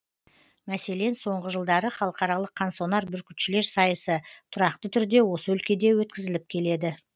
мәселен соңғы жылдары халықаралық қансонар бүркітшілер сайысы тұрақты түрде осы өлкеде өткізіліп келеді